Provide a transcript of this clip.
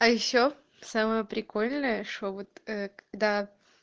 а ещё самое прикольное что вот ээ когда